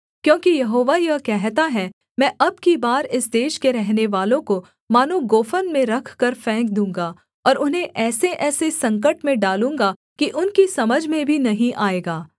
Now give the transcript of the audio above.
क्योंकि यहोवा यह कहता है मैं अब की बार इस देश के रहनेवालों को मानो गोफन में रखकर फेंक दूँगा और उन्हें ऐसेऐसे संकट में डालूँगा कि उनकी समझ में भी नहीं आएगा